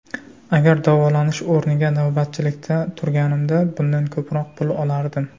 Agar davolanish o‘rniga navbatchilikda turganimda bundan ko‘proq pul olardim.